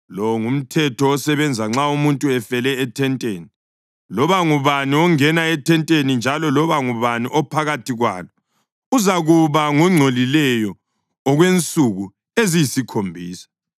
Lo ngumthetho osebenza nxa umuntu efele ethenteni: Loba ngubani ongena ethenteni njalo loba ngubani ophakathi kwalo uzakuba ngongcolileyo okwensuku eziyisikhombisa,